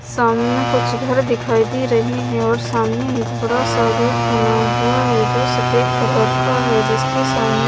सामने कुछ घर दिखाई दे रहे हैं और सामने एक बड़ा सा गेट बना हुआ है जो सफेद कलर का है जिसके सामने--